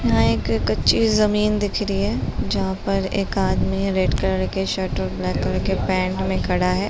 यहाँ एक कच्ची जमीन दिख रही है जहाँ पर एक अदमी रेड कलर के शर्ट और ब्लैक कलर के पैंट में खड़ा है।